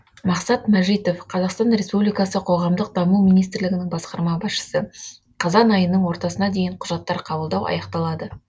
мақсат мәжитов қазақстан республикасы қоғамдық даму министрлігінің басқарма басшысы қазан айының ортасына дейін құжаттар қабылдау аяқталады